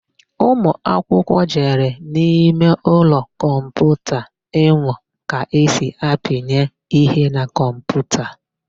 Ụmụakwụkwụ jere n'imeụlọ kọmputa ịmụ ka esi apịnye ihe na kọmputa.